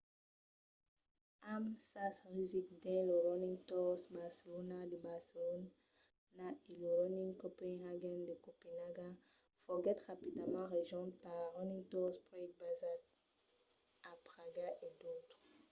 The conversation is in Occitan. amb sas rasics dins lo running tours barcelona de barcelona e lo running copenhagen de copenaga foguèt rapidament rejonch per running tours prague basat a praga e d’autres